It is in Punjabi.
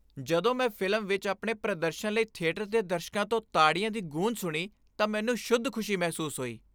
ਜਦੋਂ ਮੈਂ ਫ਼ਿਲਮ ਵਿੱਚ ਆਪਣੇ ਪ੍ਰਦਰਸ਼ਨ ਲਈ ਥੀਏਟਰ ਦੇ ਦਰਸ਼ਕਾਂ ਤੋਂ ਤਾੜੀਆਂ ਦੀ ਗੂੰਜ ਸੁਣੀ ਤਾਂ ਮੈਨੂੰ ਸ਼ੁੱਧ ਖੁਸ਼ੀ ਮਹਿਸੂਸ ਹੋਈ।